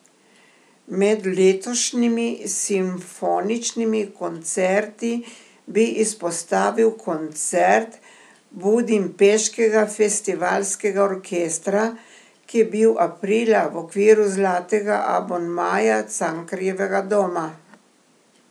Med letošnjimi simfoničnimi koncerti bi izpostavil koncert Budimpeškega festivalskega orkestra, ki je bil aprila v okviru Zlatega abonmaja Cankarjevega doma.